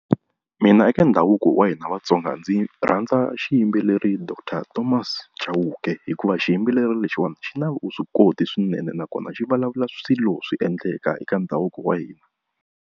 Mina eka ndhavuko wa hina Vatsonga, ndzi rhandza xiyimbeleri doctor Thomas Chauke hikuva xiyimbeleri lexiwani xi na vuswikoti swinene nakona xi vulavula swilo swi endleka eka ndhavuko wa hina.